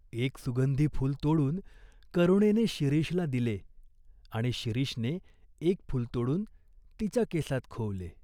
एक सुगंधी फूल तोडून करुणेने शिरीषला दिले आणि शिरीषने एक फूल तोडून तिच्या केसात खोवले.